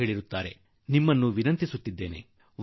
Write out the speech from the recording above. ಇವನ್ನು ಐದು ದಿನ ತೆಗೆದುಕೊಳ್ಳಬೇಕೆಂದು ವೈದ್ಯರು ನಿಮಗೆ ಹೇಳುವರು